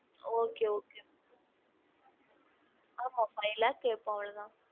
Okay okay ஆமா five lakh கேப்போம் அவ்ளோ தான்